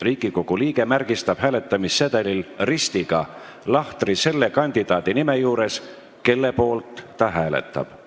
Riigikogu liige märgistab hääletamissedelil ristiga lahtri selle kandidaadi nime juures, kelle poolt ta hääletab.